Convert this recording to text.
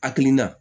Hakilina